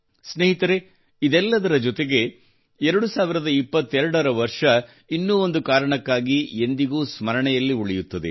ಸ್ನೇಹಿತರೇ ಇದೆಲ್ಲದರ ಜೊತೆಗೆ 2022 ರ ವರ್ಷವು ಇನ್ನೂ ಒಂದು ಕಾರಣಕ್ಕಾಗಿ ಎಂದಿಗೂ ಸ್ಮರಣೆಯಲ್ಲಿ ಉಳಿಯುತ್ತದೆ